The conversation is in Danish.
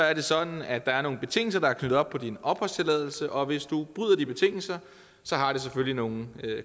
er det sådan at der er nogle betingelser der er knyttet op på din opholdstilladelse og hvis du bryder de betingelser har det selvfølgelig nogle